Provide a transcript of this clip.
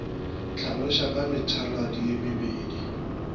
hlaloša ka methaladi ye mebedi